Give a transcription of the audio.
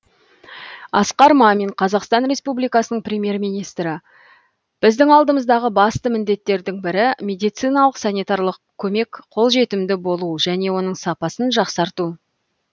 асқар мамин қазақстан республикасы премьер министрі біздің алдымыздағы басты міндеттердің бірі медициналық санитарлық көмек қолжетімді болу және оның сапасын жақсарту